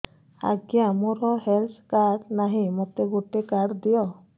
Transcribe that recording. ଆଜ୍ଞା ମୋର health card ନାହିଁ ମୋତେ ଗୋଟେ କାର୍ଡ ଦିଅ